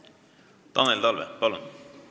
Tanel Talve, palun!